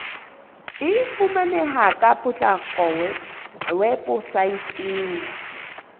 e fumaneha ka potlako weposaeteng